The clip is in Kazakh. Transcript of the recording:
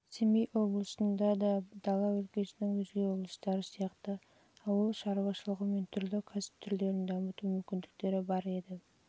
семей облысында да дала өлкесінің өзге облыстары сияқты ауыл шаруашылығы мен түрлі кәсіп түрлерін дамыту мүмкіндіктері бар еді